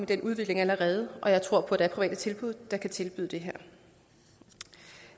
den udvikling allerede og jeg tror at der er private tilbud der kan tilbyde det her